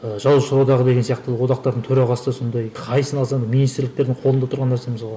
жазушылар одағы деген сияқты одақтардың төрағасы сондай қайсысын алсаң да министрліктердің қолында тұрған нәрсе мысалға